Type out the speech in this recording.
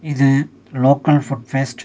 இது local food fest .